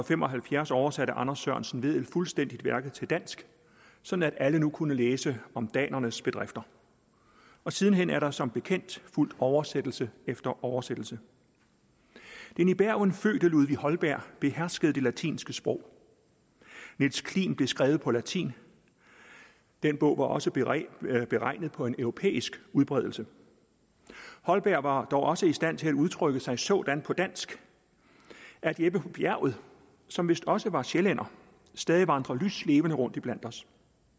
fem og halvfjerds oversatte anders sørensen vedel fuldstændigt værket til dansk sådan at alle nu kunne læse om danernes bedrifter og siden hen er der som bekendt fulgt oversættelse efter oversættelse den i bergen fødte ludvig holberg beherskede det latinske sprog niels klims blev skrevet på latin den bog var også beregnet beregnet på en europæisk udbredelse holberg var dog også i stand til at udtrykke sig sådan på dansk at jeppe på bjerget som vist også var sjællænder stadig vandrer lyslevende rundt iblandt os